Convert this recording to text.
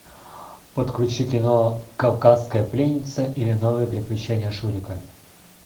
подключи кино кавказская пленница или новые приключения шурика